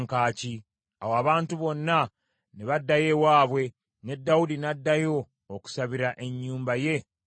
Awo abantu bonna ne baddayo ewaabwe, ne Dawudi n’addayo okusabira ennyumba ye omukisa.